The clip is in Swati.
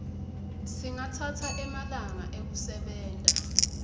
singatsatsa emalanga ekusebenta